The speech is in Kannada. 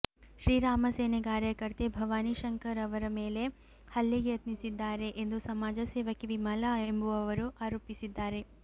ಶ್ರೀರಾಮಸೇನೆ ಕಾರ್ಯಕರ್ತೆ ಭವಾನಿ ಶಂಕರ್ ಅವರು ಮೇಲೆ ಹಲ್ಲೆಗೆ ಯತ್ನಿಸಿದ್ದಾರೆ ಎಂದು ಸಮಾಜ ಸೇವಕಿ ವಿಮಲಾ ಎಂಬುವವರು ಆರೋಪಿಸಿದ್ದಾರೆ